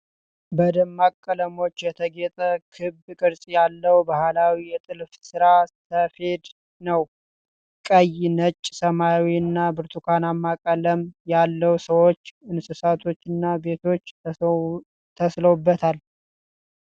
በደማቅ ቀለሞች የተጌጠ ክብ ቅርጽ ያለው ባህላዊ የጥልፍ ሥራ (ሰፌድ) ነው። ቀይ፣ ነጭ፣ ሰማያዊ እና ብርቱካናማ ቀለም ያላቸው ሰዎች፣ እንስሳትና ቤቶች ተሥለውበታል።